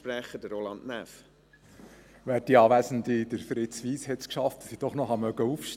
Fritz Wyss hat es geschafft, dass ich doch noch vor der Mittagspause aufstehe.